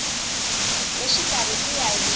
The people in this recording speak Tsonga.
le xikarhi ku ya hi